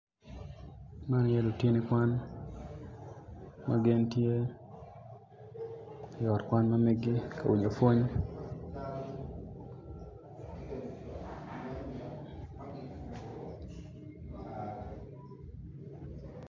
Winyo man tye ka tuk kun winyo man opito tyene aryo odwoko